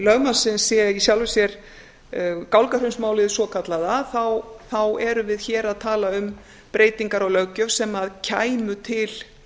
lögmannsins sé í sjálfu sér gálgahraunsmálið svokallaða erum við hér að tala um breytingar á löggjöf sem kæmu til